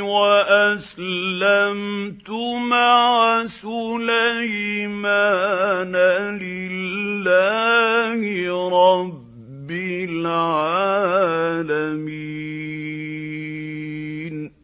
وَأَسْلَمْتُ مَعَ سُلَيْمَانَ لِلَّهِ رَبِّ الْعَالَمِينَ